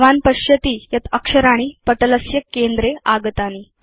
भवान् पश्यति यत् अक्षराणि पटलस्य केन्द्रे स्थितानि